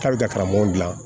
K'a bɛ ka karamɔgɔ dilan